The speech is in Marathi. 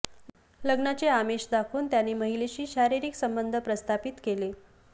लग्नाचे आमिष दाखवून त्याने महिलेशी शारीरिक संबंध प्रस्थापित केले